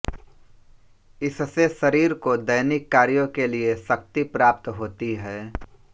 इससे शरीर को दैनिक कार्यों के लिए शक्ति प्राप्त होती है